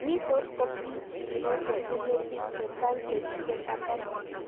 Nitok ko pichiindo chepune pik chechang' chekiketapan